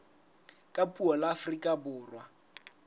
ka puo la afrika borwa